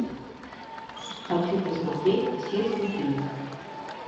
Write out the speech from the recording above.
хочу посмотреть все святые